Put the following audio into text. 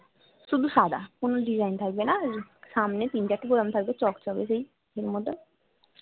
শুধু সাদা কোনো design থাকবে না সামনে তিন চার টে বোতাম থাকবে চক চকে সেই ইয়ের মতন